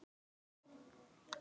Sjáumst síðar, kæri bróðir.